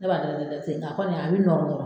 Ne b'a da da da ten nga kɔni a bi nɔrɔ nɔrɔ